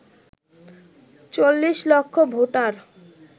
৪০ লক্ষ ভোটার